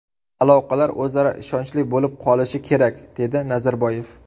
Aloqalar o‘zaro ishonchli bo‘lib qolishi kerak”, dedi Nazarboyev.